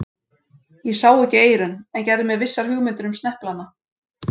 Ég sá ekki eyrun, en gerði mér vissar hugmyndir um sneplana.